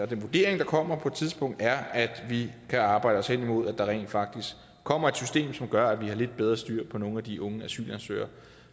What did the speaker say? den vurdering der kommer på et tidspunkt er at vi kan arbejde os henimod at der rent faktisk kommer et system som gør at vi har lidt bedre styr på nogle af de unge asylansøgere